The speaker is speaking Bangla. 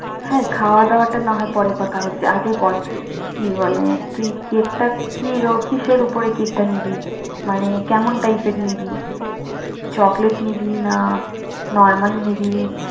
হ্যা খাওয়া দাওয়াটা না হয় পরে কথা হচ্ছে আগে বল কি বলে? কি- কিসের উপর কেকটা নিবি? মানে কেমন টাইপের নিবি choklet নিবি normal নিবি